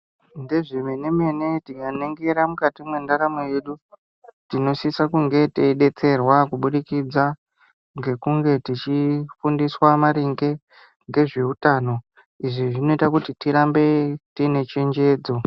Ndezve mene-mene tikaningira mukati mendaramo yedu tinosise kunge teibetserwa kubudikidza ngekunge tichifundiswa maringe ngezveutano. Izvi zvinoita kuti tirambe tiine chenjedzo.